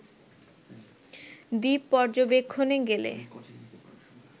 দ্বীপ পর্যবেক্ষণে গেলে